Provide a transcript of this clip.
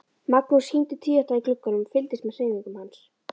Magnús hímdi tvíátta í glugganum og fylgdist með hreyfingum hans.